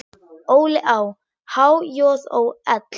Óli á. há joð ó ell.